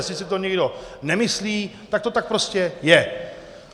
Jestli si to někdo nemyslí, tak to tak prostě je!